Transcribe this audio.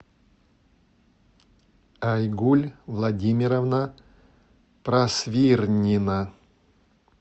айгуль владимировна просвирнина